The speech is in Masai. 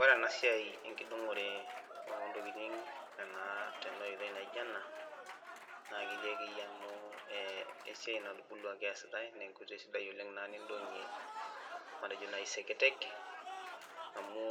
Ore ena siai tenkidong'ore intokiting naa tena oitoi naijo ena ,naa ketii akeyie amu esiai natubuluaki eesitae ,naa enkoitoi sidai naaji nindong'ie matejo seketek, amu